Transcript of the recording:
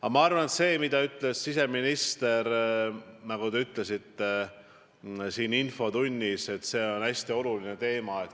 Aga ma arvan, et see, mida ütles siseminister, nagu te ütlesite siin infotunnis, see on hästi oluline teema.